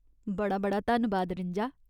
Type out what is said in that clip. बड़ा बड़ा धन्नबाद रिंजा।